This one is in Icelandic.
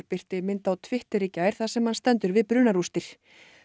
birti mynd á Twitter í gær þar sem hann stendur við brunarústir